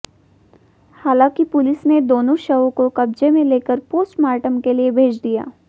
हालांकि पुलिस ने दोनों शवों को कब्जे में लेकर पोस्टमार्टम के लिए भेद दिया